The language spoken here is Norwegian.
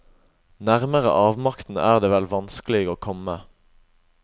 Nærmere avmakten er det vel vanskelig å komme.